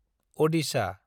Adisha